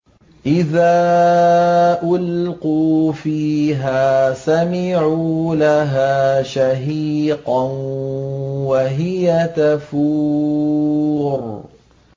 إِذَا أُلْقُوا فِيهَا سَمِعُوا لَهَا شَهِيقًا وَهِيَ تَفُورُ